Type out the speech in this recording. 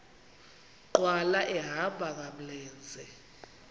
nkqwala ehamba ngamlenze